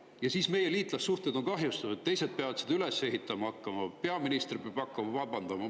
Ja siis on meie liitlassuhted kahjustatud, teised peavad neid üles ehitama hakkama, peaminister peab hakkama vabandama.